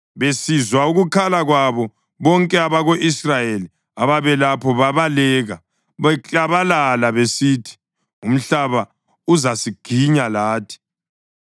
Besizwa ukukhala kwabo, bonke abako-Israyeli ababelapho babaleka, beklabalala besithi, “Umhlaba uzasiginya lathi!”